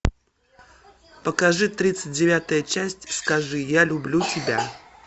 покажи тридцать девятая часть скажи я люблю тебя